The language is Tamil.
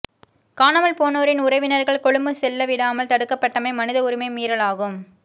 காணாமல் போனோரின் உறவினர்கள் கொழும்பு செல்லவிடாமல் தடுக்கப்பட்டமை மனித உரிமை மீறலாகும்